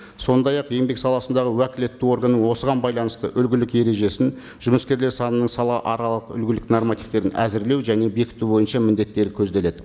сондай ақ еңбек саласындағы уәкілетті органның осыған байланысты үлгілік ережесін жұмыскерлер санының салааралық үлгілік нормативтерін әзірлеу және бекіту бойынша міндеттері көзделеді